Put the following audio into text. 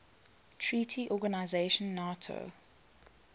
treaty organization nato